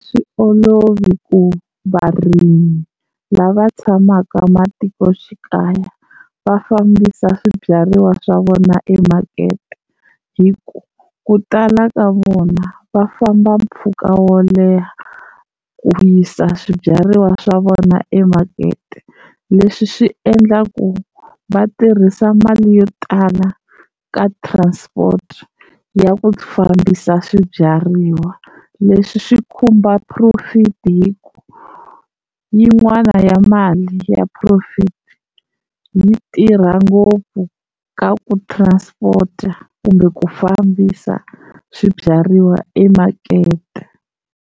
A swi olovi ku varimi lava tshamaka matikoxikaya va fambisa swibyariwa swa vona emakete, hi ku ku tala ka vona va famba mpfhuka wo leha ku yisa swibyariwa swa vona emakete, leswi swi endlaka ku va tirhisa mali yo tala ka transport ya ku fambisa swibyariwa leswi swi khumba profit hi ku yin'wana ya mali ya profit yi tirha ngopfu ka ku transport kumbe ku fambisa swibyariwa emakete.